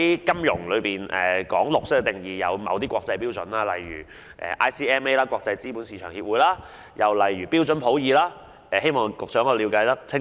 金融界對"綠色"的定義是有某些國際標準的，例如國際資本市場協會和標準普爾的定義，希望局長可以了解清楚。